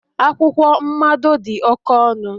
akwụkwọ mmado dị oke ọnụ